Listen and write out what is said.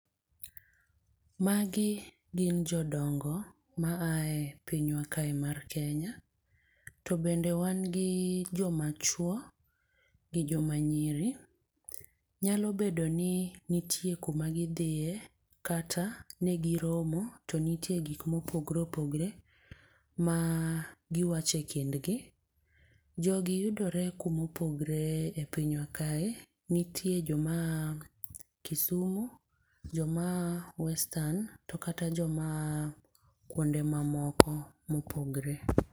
Magi gin jodongo mae pinywa kae mar kenya tobende wan gi joma chuo gi joma nyiri nyalo bedo ni nitie kuma gidhie kata nyabedo ni ne giromo tonitie gik mopogore opogore magiwachekindgi. jogi yudore kumopogore e pinywa kae. nitie joma aa kisumu, joma aa western tokata jomaa kuonde mamoko mopogore